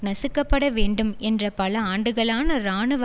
நசுக்கப்படவேண்டும் என்ற பல ஆண்டுகளான இராணுவ